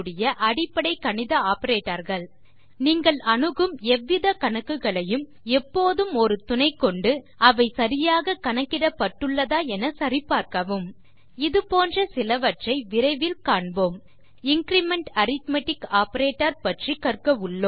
அடிப்படை கணித ஆப்பரேட்டர்ஸ் நீங்கள் அணுகும் எவ்வித கணக்குகளையும் எப்போதும் ஒரு துணை கொண்டு அவை சரியாக கணக்கிடப்பட்டுள்ளதா என சரி பார்க்கவும் இதுபோன்ற சிலவற்றை விரைவில் காண்போம் இன்கிரிமெண்ட் அரித்மெட்டிக் ஆப்பரேட்டர் பற்றி கற்க உள்ளோம்